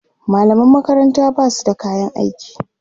mallaman makaranta Basu da kayan aiki